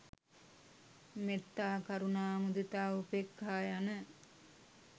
මෙත්තා, කරුණා, මුදිතා, උපේක්ඛා යන